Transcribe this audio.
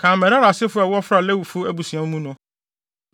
“Kan Merari asefo a wɔfra Lewifo abusua mu no.